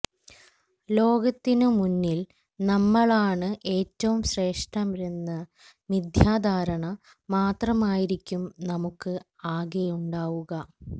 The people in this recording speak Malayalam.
ലോകത്തിനു മുന്നില് നമ്മളാണ് ഏറ്റവും ശ്രേഷ്ഠരെന്ന മിഥ്യാധാരണ മാത്രമായിരിക്കും നമുക്ക് ആകെയുണ്ടാവുക